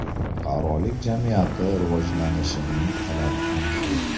Fuqarolik jamiyati rivojlanishining talabi ham shu.